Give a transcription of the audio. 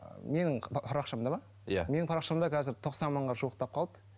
менің парақшамда ма иә менің парақшамда қазір тоқсан мыңға жуықтап қалды